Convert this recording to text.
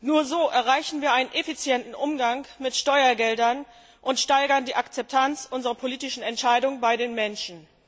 Nur so erreichen wir einen effizienten Umgang mit Steuergeldern und steigern die Akzeptanz unserer politischen Entscheidungen bei den Menschen.